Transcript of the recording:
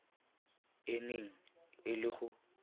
e neng e le go